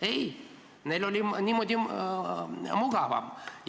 Ei, neil oli niimoodi mugavam.